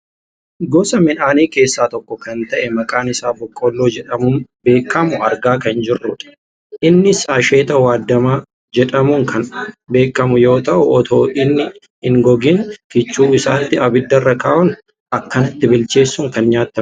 Gosa midhaanii keessaa tokko kan ta'e kan maqaan isaa boqqoolloo jedhamuun beekkamu argaa kan jirrudha. Innis asheeeta waaddamaa jedhamuun kan beekkamu yoo ta'u otoo inni hin gogeen kichuu isaatti abidarra kaa'uun akkanatti bilcheessuun kan nyaatamudha.